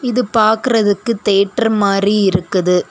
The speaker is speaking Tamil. இது பாக்குறதுக்கு தேட்டர் மாரி இருக்குது.